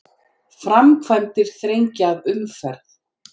Framkvæmdir þrengja að umferð